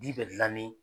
Di bɛ dilan ni